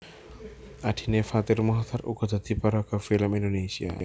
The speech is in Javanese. Adhine Fathir Muchtar uga dadi paraga film Indonesia